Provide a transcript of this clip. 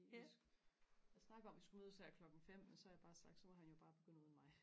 vi har snakket om vi skulle mødes her klokken fem men så har jeg bare sagt at så må han jo bare begynde uden mig